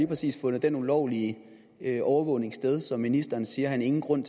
præcis fundet den ulovlige overvågning sted som ministeren siger han ingen grund